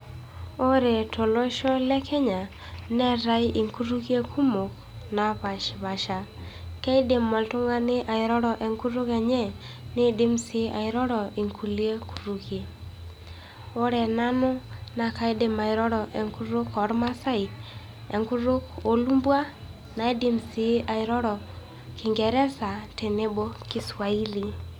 Ore tolosho lenkenya eetai inkutukie kumok naapash paasha, keidim oltung'ani airoro enkutuk enye, neidim sii airoro inkuliek kutukie. Ore nanu naa kaidim airoro enkutuk oolmaasai, wenkutuk oolumbwa, naidim sii airoro kingeresa tenebo kiswahili.